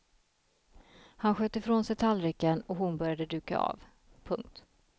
Han sköt ifrån sig tallriken och hon började duka av. punkt